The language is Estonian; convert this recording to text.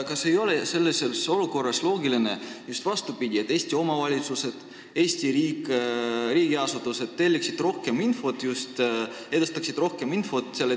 Kas sellises olukorras ei oleks loogiline käituda vastupidi, et Eesti omavalitsused ja riigiasutused edastaksid rohkem infot just selle telekanali kaudu?